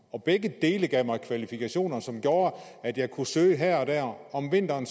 og begge dele gav mig kvalifikationer som gjorde at jeg kunne søge her og der om vinteren